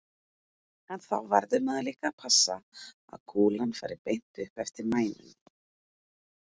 En þá verður maður líka að passa að kúlan fari beint upp eftir mænunni.